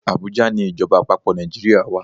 Abuja ni Ìjọba àpapò Nàìjíríà wa.